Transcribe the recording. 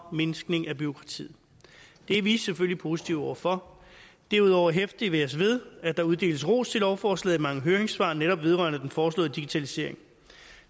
og mindskning af bureaukratiet det er vi selvfølgelig positive over for derudover hæfter vi os ved at der uddeles ros til lovforslaget i mange høringssvar netop vedrørende den foreslåede digitalisering